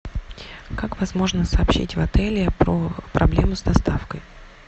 как возможно сообщить в отеле про проблему с доставкой